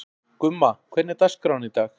Gumma, hvernig er dagskráin í dag?